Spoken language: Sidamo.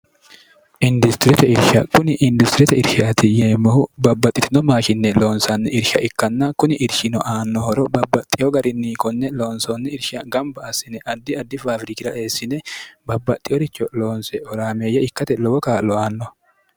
industirete irsha kuni industirete irshaati yeemmohu babbaxxitino maa kinne loonsoonni irsha ikkanna kuni irshino aannohoro babbaxxiyo garinni konne loonsoonni irsha gamba asine addi addi faafirikira eessine babbaxxi yoricho loonse oraameeyya ikkate lowo kaa'lo aanno